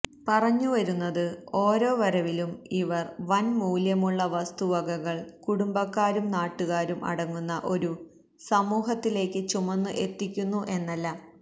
പറഞ്ഞുവരുന്നത് ഓരോ വരവിലും ഇവര് വന് മൂല്യമുള്ള വസ്തുവകകള് കുടുംബക്കാരും നാട്ടുകാരും അടങ്ങുന്ന ഒരു സമൂഹത്തിലേയ്ക്ക് ചുമന്ന് എത്തിക്കുന്നു എന്നല്ല